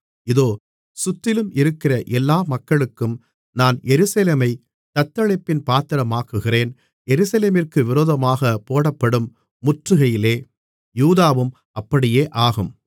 இதோ சுற்றிலும் இருக்கிற எல்லா மக்களுக்கும் நான் எருசலேமைத் தத்தளிப்பின் பாத்திரமாக்குகிறேன் எருசலேமிற்கு விரோதமாகப் போடப்படும் முற்றுகையிலே யூதாவும் அப்படியேயாகும்